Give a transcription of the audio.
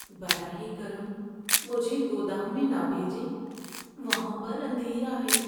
براہ کرم مجھے گودام میں نہ بھیجیں۔ وہاں پر اندھیرا ہے۔